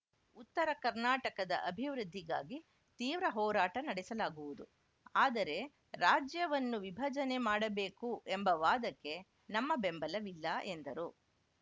ಉತ್ತರ ಕರ್ನಾಟಕದ ಅಭಿವೃದ್ಧಿಗಾಗಿ ತೀವ್ರ ಹೋರಾಟ ನಡೆಸಲಾಗುವುದು ಆದರೆ ರಾಜ್ಯವನ್ನು ವಿಭಜನೆ ಮಾಡಬೇಕು ಎಂಬ ವಾದಕ್ಕೆ ನಮ್ಮ ಬೆಂಬಲವಿಲ್ಲ ಎಂದರು